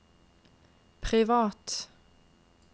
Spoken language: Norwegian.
privat